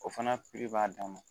O fana b'a dan ma